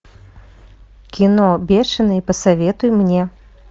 кино бешеный посоветуй мне